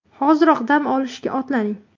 Hoziroq dam olishga otlaning!